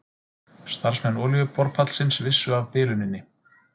Starfsmenn olíuborpallsins vissu af biluninni